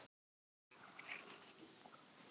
Hrósaði honum svo mikið í síðasta leik að hann roðnaði.